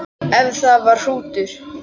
Ef það var hrútur.